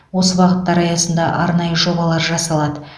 осы бағыттар аясында арнайы жобалар жасалады